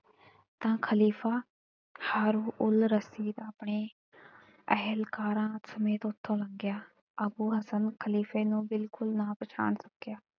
ਤਾਂ ਖ਼ਲੀਫ਼ਾ ਸਾਰੂ ਉਲ਼ ਰਸੀਦ ਆਪਣੇ ਅਹਿਲਕਾਰਾਂ ਸਮੇਤ ਉਥੋਂ ਲੰਘਿਆ। ਅੱਬੂ ਹਸਨ ਖ਼ਲੀਫ਼ੇ ਨੂੰ ਬਿਲਕੁੱਲ ਨਾ ਪਛਾਣ ਸਕਿਆ।